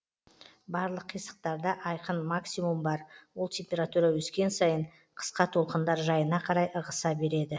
барлық қисықтарда айқын максимум бар ол температура өскен сайын қысқа толқындар жайына қарай ығыса береді